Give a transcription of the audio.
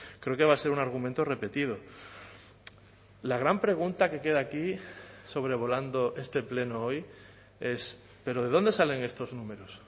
creo que va a ser un argumento repetido la gran pregunta que queda aquí sobrevolando este pleno hoy es pero de dónde salen estos números